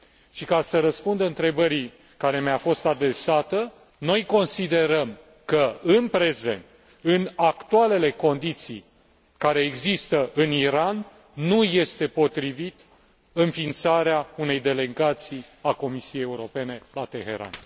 Și, ca să răspund întrebării care mi a fost adresată, noi considerăm că în prezent, în actualele condiții care există în Iran, nu este potrivită înființarea unei Delegații a Comisiei Europene la Teheran.